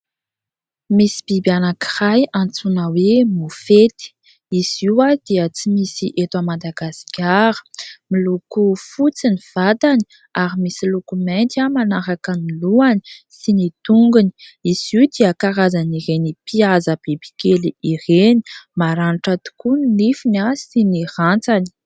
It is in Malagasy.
Misy biby anankiray antsoina hoe Mofety, izy io dia tsy misy eto Madagasikara, miloko fotsy ny vatany ary misy loko mainty manaraka ny lohany sy ny tongony, izy io dia karazan'ireny mpihaza bibikely ireny, maranitra tokoa ny nifiny sy ny rantsany.